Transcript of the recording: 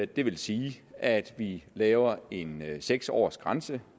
det vil sige at vi laver en seks års grænse